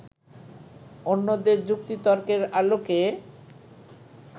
অন্যদের যুক্তি-তর্কের আলোকে